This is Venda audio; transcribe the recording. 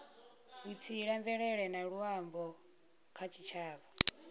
vhutsila mvelele na luambo kha tshitshavha